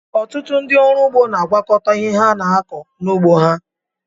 Ọtụtụ ndị ọrụ ụgbọ na-agwakọta ihe ha na-akọ n'ụgbọ ha.